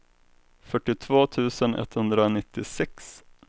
fyrtiotvå tusen etthundranittiosex